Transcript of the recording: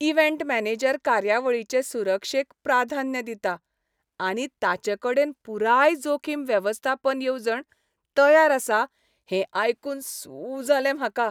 Event manager कार्यावळीचे सुरक्षेक प्राधान्य दिता आनी ताचेकडेन पुराय जोखीम वेवस्थापन येवजण तयार आसा हें आयकून सू जालें म्हाका.